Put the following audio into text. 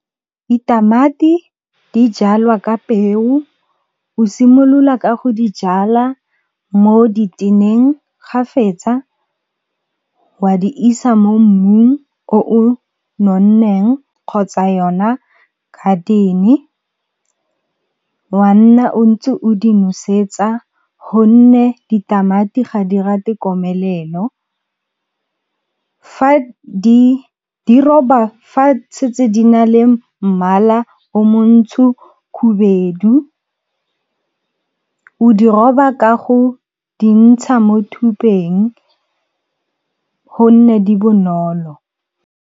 Ditamati di jalwa ka peo, o simolola ka go di jalwa mo diteneng, ga fetsa wa di isa mo mmung o o nonneng kgotsa yona garden-e, wa nna o ntse o di nosetsa gonne ditamati ga di rate komelelo. Fa setse di na le mmala o montsho khubedu o di roba ka go di ntsha mo thupeng gonne di bonolo.